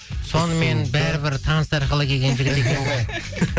сонымен бәрі бір таныс арқылы келген жігіт екен ғой